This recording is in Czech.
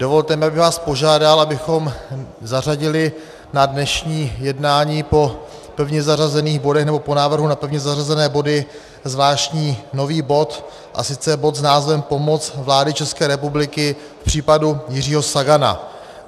Dovolte mi, abych vás požádal, abychom zařadili na dnešní jednání po pevně zařazených bodech nebo po návrhu na pevně zařazené body zvláštní nový bod, a sice bod s názvem Pomoc vlády České republiky k případu Jiřího Sagana.